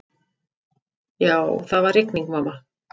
Já, það var rigning, mamma.